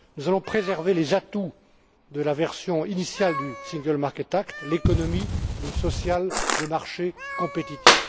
Nous allons préserver les atouts de la version initiale du Single Market Act l'économie sociale de marché compétitive.